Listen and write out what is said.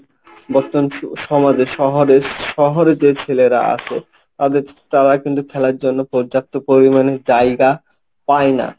সমাজে, শহরে শহরে যে ছেলেরা আছে তাদের তারা কিন্তু খেলার জন্য পর্যাপ্ত পরিমাণে জায়গা পায় না।